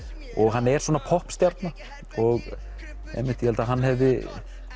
hann er svona poppstjarna hann hefði